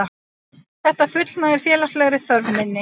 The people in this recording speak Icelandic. Þetta fullnægir félagslegri þörf minni.